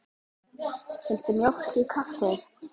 Viltu mjólk í kaffið?